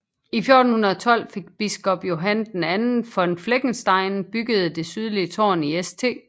I 1412 fik biskop Johann II von Fleckenstein bygget det sydlige tårn i St